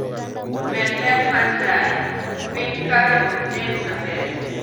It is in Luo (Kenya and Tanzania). Med ler mar taya, piny kae ok nen maber